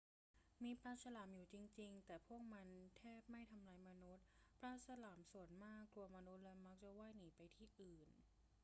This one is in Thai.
มีปลาฉลามอยู่จริง ๆ แต่พวกมันแทบไม่ทำร้ายมนุษย์ ปลาฉลามส่วนมากกลัวมนุษย์และมักจะว่ายหนีไปที่อื่น